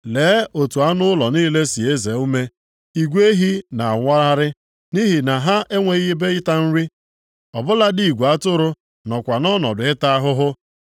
Lee otu anụ ụlọ niile si eze ume! Igwe ehi na-awagharị nʼihi na ha enweghị ebe ịta nri; ọ bụladị igwe atụrụ nọkwa nʼọnọdụ ịta ahụhụ.